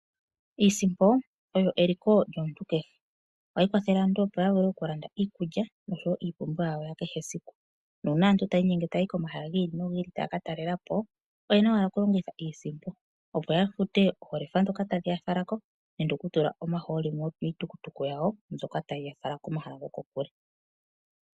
Iisimpo oyo eliko lyomuntu kehe. Ohayi kwathele aantu opo ya vule okulanda iikulya noshowo iipumbiwa yawo ya kehe siku. Nuuna aantu taya inyenge taya yi komahala gi ili nogi ili taya katalela po oyena owala okulongitha iisimpo opo ya fute oolefa ndhoka tadhi ya fala ko nenge okutula omahooli miitukutuku yawo mbyoka tayi ya fala komahala gokokule.